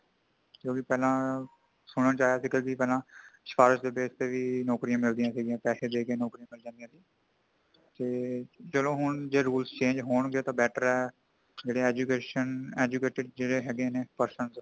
ਕਿਉਂਕਿ ਪਹਿਲਾਂ ਸੁਣਨ ਵਿਚ ਆਇਆ ਸੀ ਕਈ ਦਿਨ ਪਹਿਲਾਂ ਸਿਫਾਰਿਸ਼ ਦੇ base ਤੇ ਵੀ ਨੌਕਰੀਆਂ ਮਿਲਦੀਆਂ ਸੀ ਪੈਸੇ ਦੇ ਕੇ ਨੌਕਰੀਆਂ ਲੱਗ ਜਾਂਦੀਆਂ ਸੀ ,ਚਲੋ ਹੁਣ rule change ਹੋਣਗੇ ਤਾ better ਹੈ |ਜਿਹੜੇ education ,educated ਹੈਗੇ ਨੇ person .